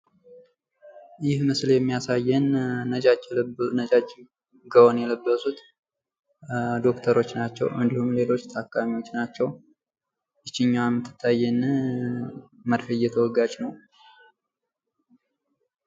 ይህ ምስል የሚያሳየን ነጫች የለበሱ ጋወን የለበሱት ዶክተሮች ናቸው። እንዲሁም ሌሎች ታካሚዎች ናቸው። ይችኛዋ የምትታየነ መርፌ እየተወጋች ነው።